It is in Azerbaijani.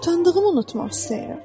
Utandığımı unutmaq istəyirəm.